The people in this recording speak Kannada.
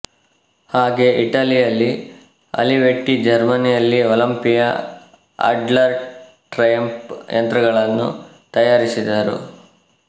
ಹಾಗೆ ಇಟಲಿಯಲ್ಲಿ ಆಲಿವೆಟ್ಟಿ ಜರ್ಮನಿಯಲ್ಲಿ ಒಲಂಪಿಯಾ ಆಡ್ಲರ್ ಟ್ರಯಂಫ್ ಯಂತ್ರಗಳನ್ನು ತಯಾರಿಸಿದರು